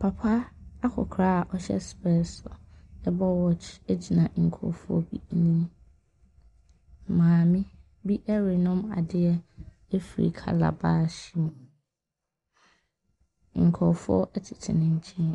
Papa akɔkora a ɔhyɛ specs, bɔ watch gyina nkurɔfoɔ bi anim. Maame bi renom adeɛ afiri calabash mu. Nkurɔfoɔ tete ne nkyɛn,